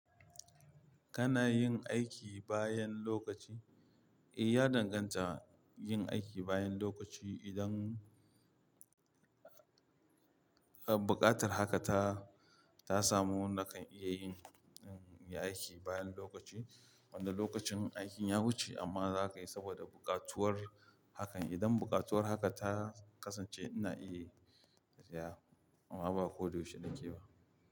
Kana yin aiki bayan lokaci? Eh, ya danganta yin aiki bayan lokaci idan, uh, buƙatar haka ta, ta samu nakan iya yin, yin aiki bayan lokaci. Wanda lokacin aikin ya wuce amma zaka yi saboda buƙatuwar hakan. Idan buƙatuwar haka ta kasance ina iya, iya, amma ba ko da yaushe nake ba.